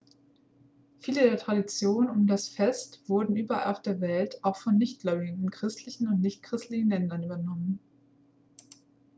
viele der traditionen um das fest wurden überall auf der welt auch von nichtgläubigen in christlichen und nichtchristlichen ländern übernommen